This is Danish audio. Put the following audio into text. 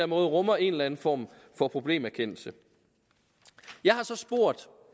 måde rummer en eller en form for problemerkendelse jeg har så spurgt